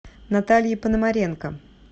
наталье пономаренко